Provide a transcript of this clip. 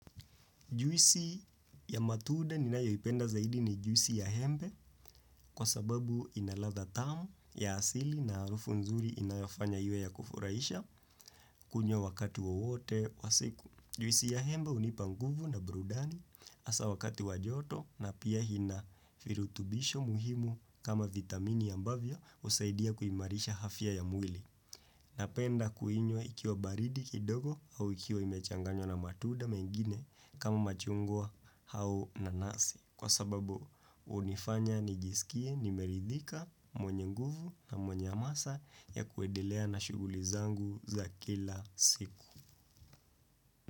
Juisi ya matunda ni nayo ipenda zaidi ni juisi ya embe kwa sababu inaladhaa tamu ya asili na harufu nzuri inayofanya iwe ya kufurahisha kunywa wakati wowote wa siku. Juisi ya embe hunipa nguvu na burudani hasa wakati wa joto na pia ina virutubisho muhimu kama vitamini ambavyo husaidia kuimarisha afya ya mwili. Napenda kuinywa ikiwa baridi kidogo au ikiwa imechanganywa na matunda mengine kama machungwa au nanasi kwa sababu hunifanya nijiskie nimeridhika mwenye nguvu na mwenye hamasa ya kuedelea na shuguli zangu za kila siku.